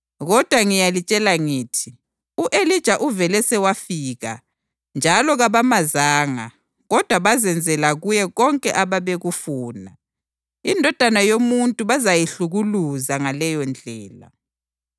Kodwa ngiyalitshela ngithi u-Elija uvele sewafika njalo kabamazanga kodwa bazenzela kuye konke ababekufuna. INdodana yoMuntu bazayihlukuluza ngaleyondlela.”